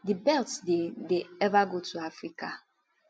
di belts dey dey ever go to africa